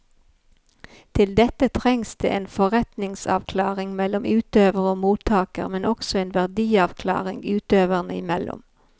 Til dette trengs det en forventningsavklaring mellom utøver og mottaker, men også en verdiavklaring utøverne imellom.